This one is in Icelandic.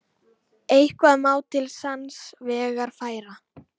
Eitthvað má til sanns vegar færa